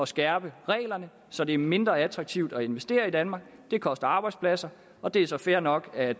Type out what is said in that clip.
skærpe reglerne så det er mindre attraktivt at investere i danmark det koster arbejdspladser og det er så fair nok at